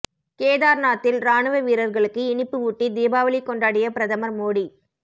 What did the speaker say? கேதார்நாத்தில் ராணுவ வீரர்களுக்கு இனிப்பு ஊட்டி தீபாவளி கொண்டாடிய பிரதமர் மோடி